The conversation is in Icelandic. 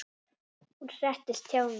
Hún settist hjá mér.